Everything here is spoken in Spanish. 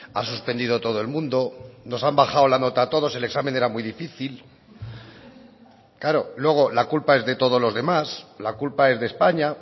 ha suspendido todo el mundo nos han bajado la nota a todos el examen era muy difícil claro luego la culpa es de todos los demás la culpa es de españa